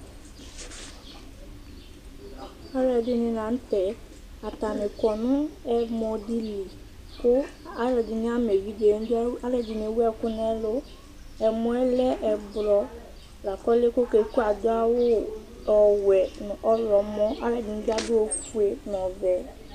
aloɛdini lantɛ atani kɔ no ɛmɔ di li kò aloɛdini ama evidze n'idu aloɛdini ewu ɛkò n'ɛlu ɛmɔɛ lɛ ublɔ lako ɔloɛ k'oke kue ado awu ɔwɛ no ɔwlɔmɔ aloɛdini bi ado ofue n'ɔvɛ